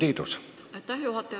Aitäh, juhataja!